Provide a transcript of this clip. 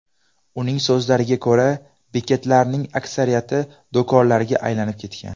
Uning so‘zlariga ko‘ra, bekatlarning aksariyati do‘konlarga aylanib ketgan.